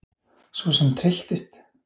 Sú sem trylltist!